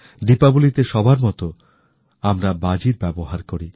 দীপাবলি তে সবার মত আমরা বাজীর ব্যবহার করি